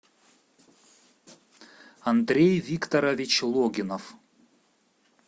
андрей викторович логинов